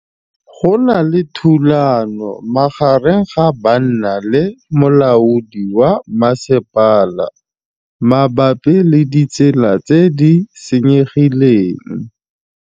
Go na le thulanô magareng ga banna le molaodi wa masepala mabapi le ditsela tse di senyegileng.